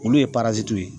Olu ye ye